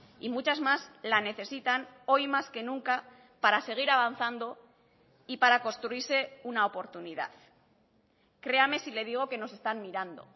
y muchas más la necesitan hoy más que nunca para seguir avanzando y para construirse una oportunidad créame si le digo que nos están mirando